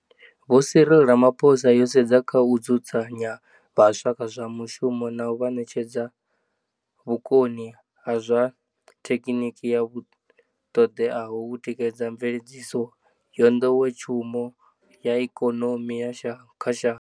Vho Cyril Rama phosa, yo sedza kha u dzudza nya vhaswa kha zwa mushumo na u vha ṋetshe dza vhukoni ha zwa the khiniki vhu ṱoḓeaho u tikedza mveledziso ya nḓowetshumo ya ikonomi kha shango.